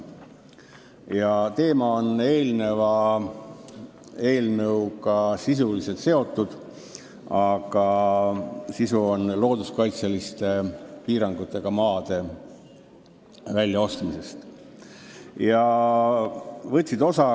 a. Teema on seotud eelmise eelnõuga, aga selle eelnõu sisu on looduskaitseliste piirangutega maade väljaostmine.